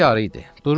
Gecə yarı idi.